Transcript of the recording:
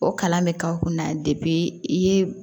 O kalan bɛ k'aw kunna i ye